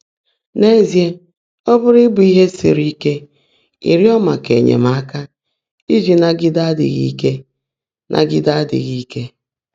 N’ézíe, ọ́ pụ́rụ́ íbụ́ íhe sírí íke ị́rị́ọ́ màká ényèmáka íjí nágídé ádị́ghị́ íke. nágídé ádị́ghị́ íke.